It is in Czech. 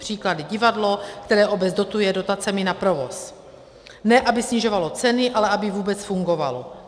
Příklady: Divadlo, které obec dotuje dotacemi na provoz, ne aby snižovalo ceny, ale aby vůbec fungovalo.